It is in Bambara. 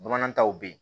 Bamanan taw be yen